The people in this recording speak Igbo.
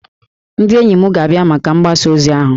Ndị enyi m ga-abịa maka mgbasa ozi ahụ